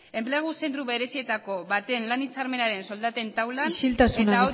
enplegu zentro berezietako baten lan hitzarmenaren soldaten taulan isiltasuna